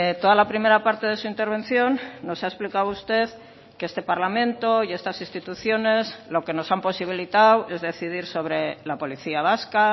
toda la primera parte de su intervención nos ha explicado usted que este parlamento y estas instituciones lo que nos han posibilitado es decidir sobre la policía vasca